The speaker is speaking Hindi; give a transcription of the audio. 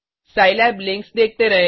सिलाब लिंक्स देखते रहें